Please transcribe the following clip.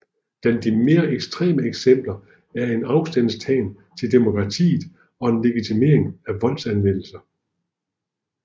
Blandt de mere ekstreme eksempler er en afstandtagen til demokratiet og en legitimering af voldsanvendelse